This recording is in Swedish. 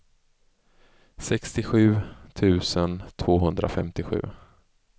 sextiosju tusen tvåhundrafemtiosju